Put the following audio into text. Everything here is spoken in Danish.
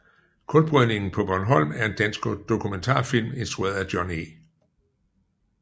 Kulbrydning paa Bornholm er en dansk dokumentarfilm instrueret af John E